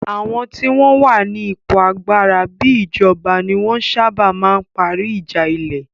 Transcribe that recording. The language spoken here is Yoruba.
Àwọn tí wọ́n wà ní ipò agbára bíi ìjọba ní wọ́n ń sábà ma ń parí ìjà ilẹ̀